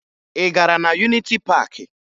Ị gara na Yuniti Paakị?